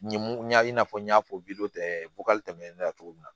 Ɲ mun ɲa i n'a fɔ n y'a fɔ tɛmɛnen na cogo min na